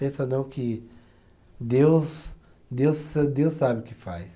Pensa não que Deus. Deus sa, Deus sabe o que faz.